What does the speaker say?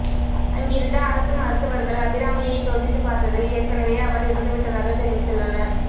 அங்கிருந்த அரசு மருத்துவர்கள் அபிராமியை சோதித்து பார்த்ததில் ஏற்கெனவே அவர் இறந்துவிட்டதாக தெரிவித்துள்ளனர்